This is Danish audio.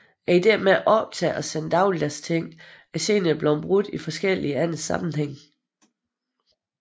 Ideen med at optage og sende dagligdags ting er senere blevet brugt i forskellige andre sammenhænge